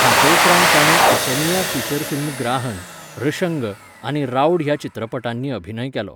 हाचे उपरांत ताणें असमिया फिचर फिल्म ग्राहन, ऋषंग आनी राउड ह्या चित्रपटांनी अभिनय केलो.